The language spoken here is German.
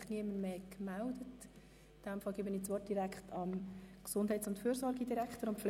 Ich erteile dem Gesundheits- und Fürsorgedirektor das Wort.